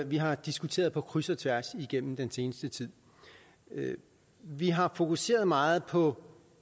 vi har diskuteret på kryds og tværs igennem den seneste tid vi har fokuseret meget på